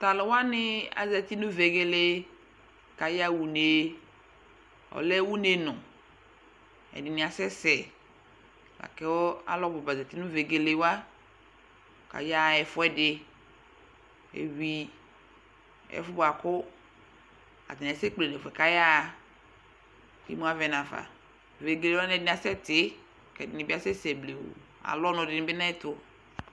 Tʋ alʋ wanɩ azati nʋ vegele kʋ ayaɣa une Ɔlɛ unenʋ Ɛdɩnɩ asɛsɛ la kʋ alʋbʋ ba zati nʋ vegele wa kʋ ayaɣa ɛfʋɛdɩ Eyui ɛfʋ yɛ bʋa kʋ atanɩ asɛkple nʋ ɛfʋ yɛ bʋa kʋ ayaɣa kʋ imu avɛ nafa Vegele wanɩ ɛdɩnɩ asɛtɩ kʋ ɛdɩnɩ bɩ asɛsɛ blewuu Alʋ ɔnʋ dɩnɩ bɩ nʋ ayɛtʋ